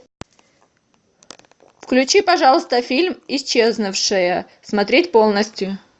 включи пожалуйста фильм исчезнувшие смотреть полностью